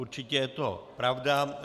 Určitě je to pravda.